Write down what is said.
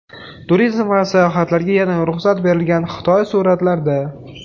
Turizm va sayohatlarga yana ruxsat berilgan Xitoy suratlarda.